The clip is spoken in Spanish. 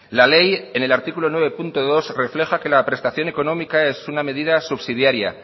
la ley en el artículo nueve punto dos refleja que la prestación económica es una medida subsidiaria